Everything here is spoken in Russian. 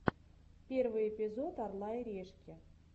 первый эпизод орла и решки